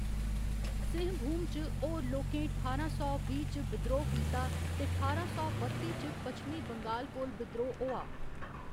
सिंहभूम च होर लोकें ठारां सौ बीह्‌ च बिद्रोह् कीता ते ठारां सौ बत्ती च पच्छमी बंगाल कोल बिद्रोह् होआ।